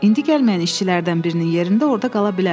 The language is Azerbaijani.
İndi gəlməyən işçilərdən birinin yerində orda qala bilərəm.